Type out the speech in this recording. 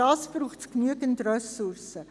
Und dafür braucht es genügend Ressourcen.